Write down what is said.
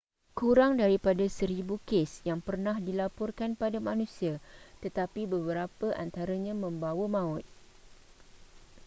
kurang daripada seribu kes yang pernah dilaporkan pada manusia tetapi beberapa antaranya membawa maut